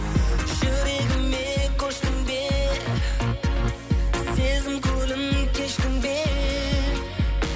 жүрегіме көштің бе сезім көлін кештің бе